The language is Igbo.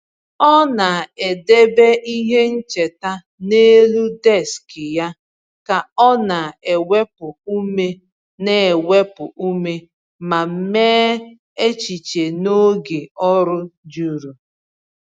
Ọ na-edebe ihe ncheta n’elu deskị ya ka ọ na-ewepụ ume na-ewepụ ume ma mee echiche n’oge ọrụ juru.